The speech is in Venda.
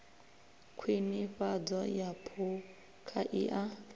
khwinifhadzo ya phukha i a